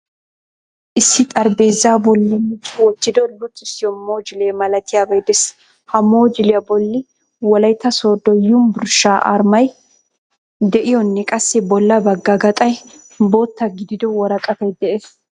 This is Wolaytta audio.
Issi xaraphpheezzaa bolli micci wottido luxxisiyo mojuule malatiyabay dees. Ha mojuuliyaa bolli wolaytta sodo yunburshshaa armay de'iyonne qassi bolla bagga gaxxay bootta gidido woraqattay de'ees.